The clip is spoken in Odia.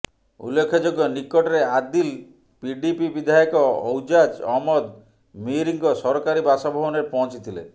ଉଲ୍ଲେଖଯୋଗ୍ୟ ନିକଟରେ ଆଦିଲ୍ ପିଡିପି ବିଧାୟକ ଐଜାଜ୍ ଅହମ୍ମଦ ମିରଙ୍କ ସରକାରୀ ବାସଭବନରେ ପହଞ୍ଚିଥିଲେ